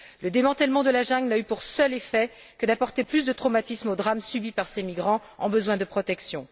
Le démantèlement de la jungle n'a eu pour seul effet que d'apporter plus de traumatisme au drame subi par ces migrants en mal de protection.